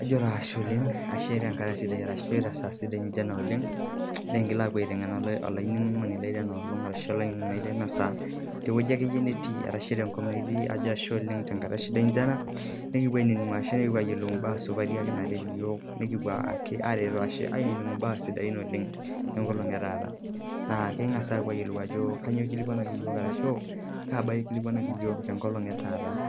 ajo ashe oleng olaininingoni lai tenkaraki ena saa sidai nikiingil aapuo aitengena mpaa sidain oleng naaret iyiook tenkolong etaata naa ekipuo aayiolou aajo kainyioo ikilikuanaki yiook tenkolong etaata.